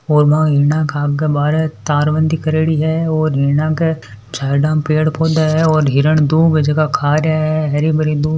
तारवंदी करेड़ी हैं और हिरना के झरना पेड़ पोधा है और हिरन दूब है जीका खा रा है हरी भरी दूब --